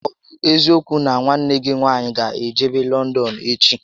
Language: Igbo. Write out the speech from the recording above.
Ọ bụ eziokwu nà nwanne gị nwaanyị gá ejebe Lọndọn echi?